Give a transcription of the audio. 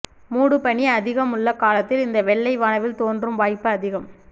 மூடுபனி அதிகமுள்ள காலத்தில் இந்த வெள்ளை வானவில் தோன்றும் வாய்ப்பு அதிகம்